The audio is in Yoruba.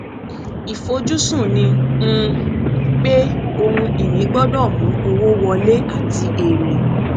ìfojúsùn ni um pé ohun ìní gbọdọ mú owó wọlé àti èrè